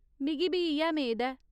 मिगी बी इ'यै मेद ऐ।